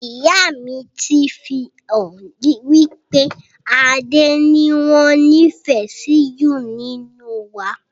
Ìyá mi ti fi hàn wípé Adé ni wọn nifẹ si ju nínú wa